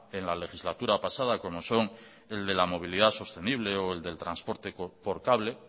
en la legislatura pasada como son el de la movilidad sostenible o el del transporte por cable